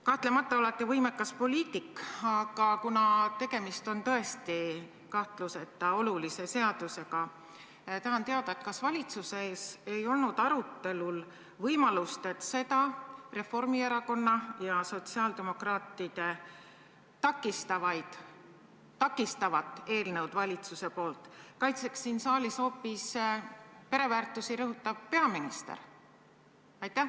Kahtlemata olete võimekas poliitik, aga kuna tegemist on tõesti kahtluseta olulise seadusega, tahan teada, kas valitsuses ei olnud arutelul võimalust, et seda Reformierakonna ja sotsiaaldemokraatide takistavat eelnõu valitsuse poolt kaitseks siin saalis hoopis pereväärtusi rõhutav peaminister.